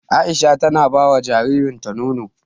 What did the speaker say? Aisha tana bawa jaririn ta nono